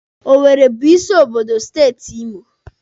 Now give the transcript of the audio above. Owere bụ isi obodo steeti Imo.